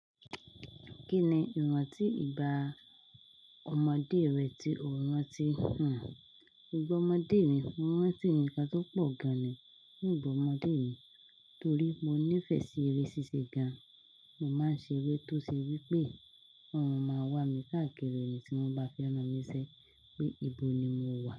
Kí ni ìrántí ìgbá ọmọdé rẹ tí o rántí hàn? Ìgbá ọmọdé mi, ìrántí nǹkan tó pọ̀ gan ni ní ìgbá ọmọdé mi, torí mo nífẹ̀ẹ́ sí eré ṣíṣe gan. Mo máa ń ṣe eré tó ṣe wípé won máma wà mí káàkiri nì tí wọ́n bá fẹ́ràn mini ṣẹ́ pé ibo ni mo wà.